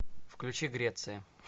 включи греция